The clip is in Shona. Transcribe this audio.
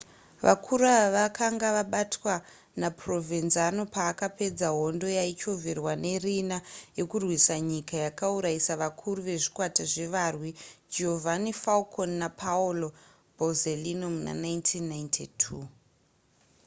vakuru ava vakanga vabatwa naprovenzano paakapedza hondo yaichovherwa nariina yekurwisa nyika yakauraisa vakuru vezvikwata zvevarwi giovanni falcone napaolo borsellino muna 1992